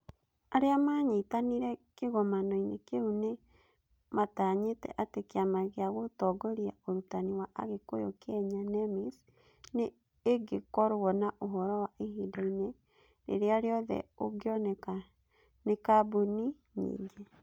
Arĩa maanyitanĩire kĩgomano-inĩ kĩu nĩ matanyĩte atĩ Kĩama gĩa Gũtongoria Ũrutani wa Agĩkũyũ Kenya (NEMIS) nĩ ĩngĩkorũo na ũhoro wa ihinda-inĩ rĩrĩa rĩothe ũngĩoneka nĩ kambuni nyingĩ.